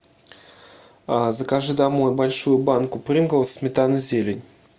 закажи домой большую банку принглс сметана зелень